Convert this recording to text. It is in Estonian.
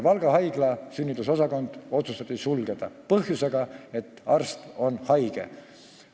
Valga haigla sünnitusosakond otsustati sulgeda põhjendusega, et arst on haige.